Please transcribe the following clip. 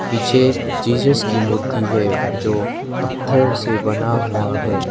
पीछे जिज्स की मूर्ति है जो पत्थर से बना हुआ है।